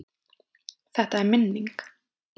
Þetta er minning.